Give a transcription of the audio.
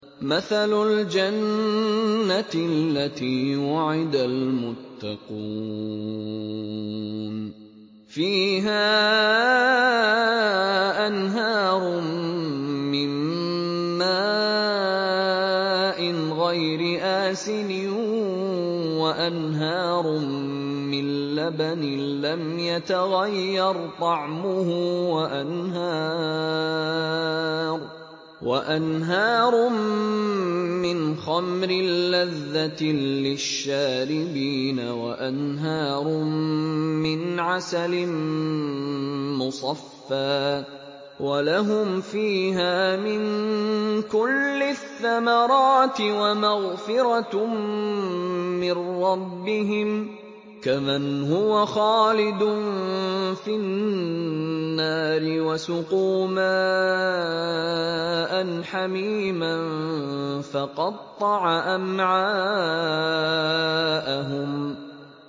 مَّثَلُ الْجَنَّةِ الَّتِي وُعِدَ الْمُتَّقُونَ ۖ فِيهَا أَنْهَارٌ مِّن مَّاءٍ غَيْرِ آسِنٍ وَأَنْهَارٌ مِّن لَّبَنٍ لَّمْ يَتَغَيَّرْ طَعْمُهُ وَأَنْهَارٌ مِّنْ خَمْرٍ لَّذَّةٍ لِّلشَّارِبِينَ وَأَنْهَارٌ مِّنْ عَسَلٍ مُّصَفًّى ۖ وَلَهُمْ فِيهَا مِن كُلِّ الثَّمَرَاتِ وَمَغْفِرَةٌ مِّن رَّبِّهِمْ ۖ كَمَنْ هُوَ خَالِدٌ فِي النَّارِ وَسُقُوا مَاءً حَمِيمًا فَقَطَّعَ أَمْعَاءَهُمْ